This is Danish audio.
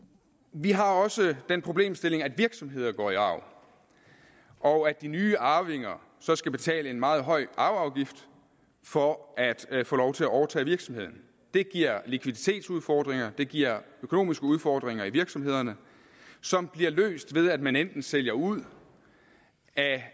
vi har også den problemstilling at virksomheder går i arv og at de nye arvinger så skal betale en meget høj arveafgift for at at få lov til at overtage virksomheden det giver likviditetsudfordringer og det giver økonomiske udfordringer i virksomhederne som bliver løst ved at man enten sælger ud af